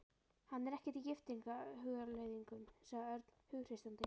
Hann er ekkert í giftingarhugleiðingum, sagði Örn hughreystandi.